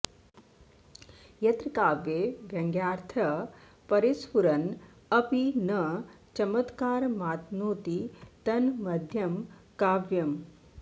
यत्र काव्ये व्यङ्यार्थः परिस्फुरन्नपि न चमत्कारमातनोति तन्मध्यमं काव्यम्